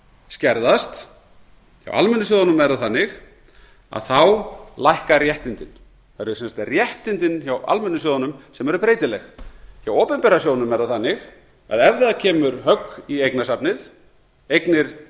skerðast hjá almennu sjóðunum er það þannig þá lækka réttindin það eru sem sagt réttindin hjá almennu sjóðunum sem eru breytileg hjá opinbera sjóðnum er það þannig að ef það kemur högg í eignasafnið eignir